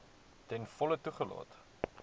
ten volle toegelaat